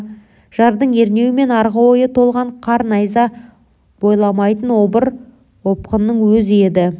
жардың ернеуі мен арғы ойы толған қар найза бойламайтын обыр опқының өзі еді